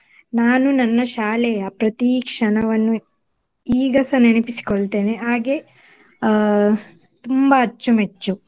ನಾನು ನನ್ನ ಶಾಲೆಯ ಪ್ರತೀ ಕ್ಷಣವನ್ನು ಈಗಸ ನೆನಪಿಸಿಕೊಳ್ಳುತ್ತೇನೆ ಹಾಗೆ ಅಹ್ ತುಂಬ ಅಚ್ಚುಮೆಚ್ಚು.